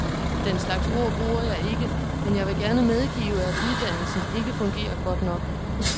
Den slags ord bruger jeg ikke, men jeg vil gerne medgive, at uddannelsen ikke fungerer godt nok.